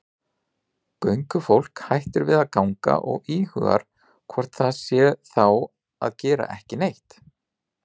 Göngufólk hættir að ganga og íhugar hvort það sé þá að gera ekki neitt.